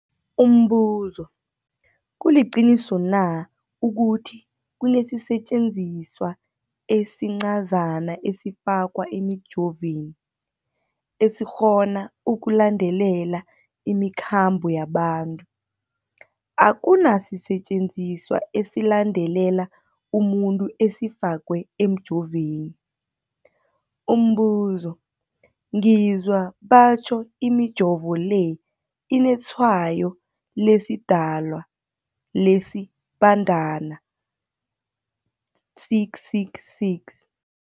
Umbuzo, kuliqiniso na ukuthi kunesisetjenziswa esincazana esifakwa emijovweni, esikghona ukulandelela imikhambo yabantu? Akuna sisetjenziswa esilandelela umuntu esifakwe emijoveni. Umbuzo, ngizwa batjho imijovo le inetshayo lesiDalwa, lesiBandana 666.